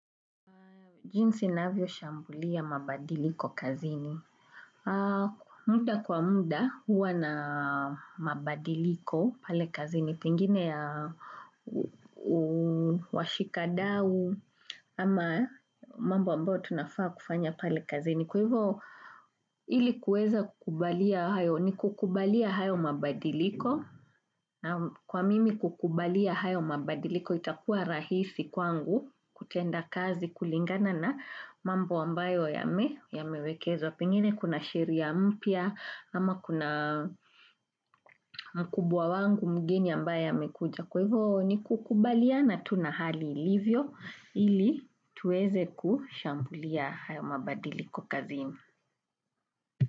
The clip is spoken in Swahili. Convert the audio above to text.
Jinsi ninavyo shambulia mabadiliko kazini. Muda kwa muda huwa na mabadiliko pale kazini. Pengine ya washikadau ama mambo ambayo tunafaa kufanya pale kazini. Kwa hivyo ilikuweza kukubalia hayo ni kukubalia hayo mabadiliko. Kwa mimi kukubalia hayo mabadiliko itakua rahisi kwangu kutenda kazi kulingana na mambo ambayo ya mewekezwa, pengine kuna sheria mpya, ama kuna mkubwa wangu mgeni ambaye amekuja. Kwa hivyo ni kukubaliana tuna hali ilivyo ili tuweze kushambulia hayo mabadilikokazi.